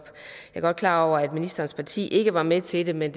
godt klar over at ministerens parti ikke var med til det men